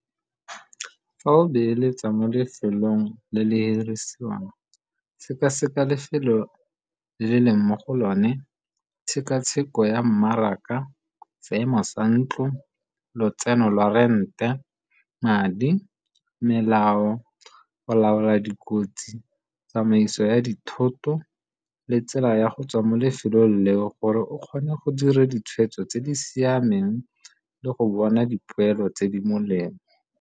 Fa o beeletsa mo lefelong le le hirisiwang seka-seka lefelo le le leng mo go lone, tshekatsheko ya mmaraka, seemo sa ntlo, lotseno lwa rente, madi, melao, go laola dikotsi, tsamaiso ya dithoto, le tsela ya go tswa mo lefelong leo gore o kgone go dira ditshwetso tse di siameng le go bona dipoelo tse di molemo.